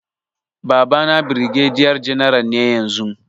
Babana birgediya janar ne yanzu